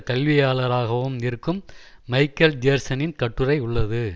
கல்வியாளராகவும் இருக்கும் மைக்கல் ஜேர்சனின் கட்டுரை உள்ளது